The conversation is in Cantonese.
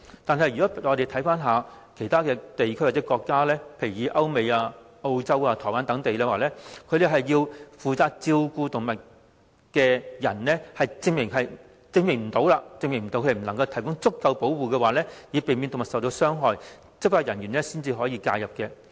反觀其他地區或國家，如歐美、澳洲、台灣等地，只要負責照顧動物的人無法證明能提供足夠保護，以避免動物受到傷害，執法人員便可介入。